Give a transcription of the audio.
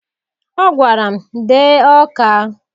Ọ gwara m, dee Ọka!